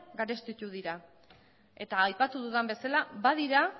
garestitu dira eta aipatu dudan bezala badira